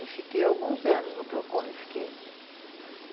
E fiquei alguns anos no Procon, eu fiquei.